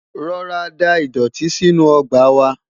rọra dá idọti sínú ọgbà wa